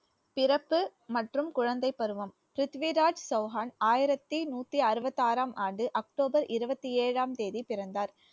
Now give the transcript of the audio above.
பிறப்பு மற்றும் குழந்தைப் பருவம் பிரித்விராஜ் சௌஹான் ஆயிரத்தி நூத்தி அறுபத்தி ஆறாம் ஆண்டு அக்டோபர் இருபத்தி ஏழாம் தேதி பிறந்தார்